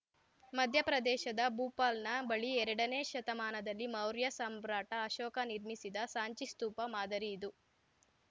ಮಧ್ಯಪ್ರದೇಶದ ಭೂಪಾಲ್‌ನ ಬಳಿ ಎರಡನೇ ಶತಮಾನದಲ್ಲಿ ಮೌರ್ಯ ಸಾಮ್ರಾಟ ಅಶೋಕ ನಿರ್ಮಿಸಿದ ಸಾಂಚಿ ಸ್ತೂಪ ಮಾದರಿ ಇದು